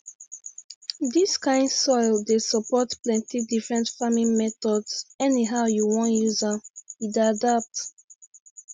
dis kind soil dey support plenty different farming methods anyhow you wan use am e dey adapt